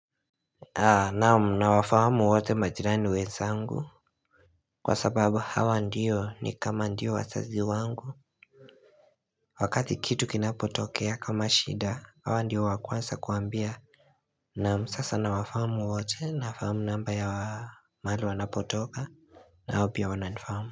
Naum na wafamu wato majirani uweza angu Kwa sababu hawa ndiyo ni kama ndiyo wazazi wangu Wakati kitu kinapotokea kama shida hawa ndiyo wakwanza kuambia Naum sasa na wafamu wote na famu namba ya mali wanapotoka na wao pia wananifamu.